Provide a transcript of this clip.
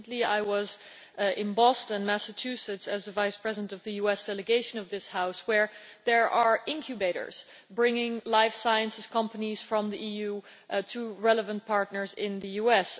Recently I was in Boston, Massachusetts, as the Vice President of the US Delegation of this House, where there are incubators bringing life science companies from the EU to relevant partners in the US.